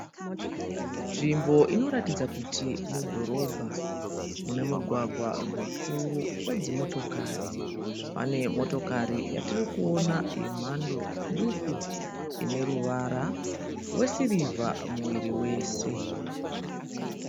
Nzvimbo inoratidza kuti mudhorobha mune mugwagwa mukuru wedzimotokari. Pane motokari yatiri kuona yemhando duku ine ruvara rwesivha muviri wese.